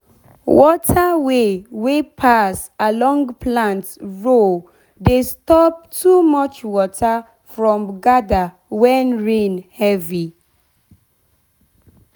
water way wey pass pass along plant row dey stop too much water from gather when rain heavy.